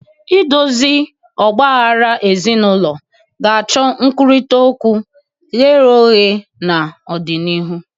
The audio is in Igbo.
Idozi ọgba aghara ezinụlọ ga-achọ nkwurịta okwu ghe ọghe n'ọdịnihu.